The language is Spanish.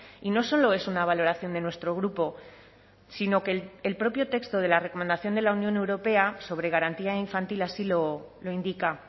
y no solo es una valoración de nuestro grupo sino que el propio texto de la recomendación de la unión europea sobre garantía infantil así lo indica